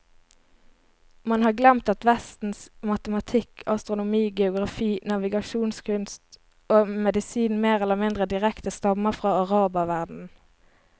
Man har glemt at vestens matematikk, astronomi, geografi, navigasjonskunst og medisin mer eller mindre direkte stammer fra araberverdenen.